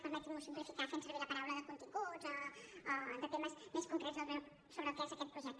permetinm’ho simplificar fent servir la paraula de continguts o de temes més concrets sobre el que és aquest projecte